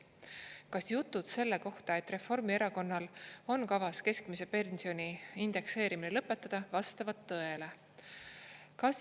Kas jutud selle kohta, et Reformierakonnal on kavas keskmise pensioni indekseerimine lõpetada, vastavad tõele?